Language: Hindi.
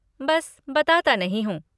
बस बताता नहीं हूँ।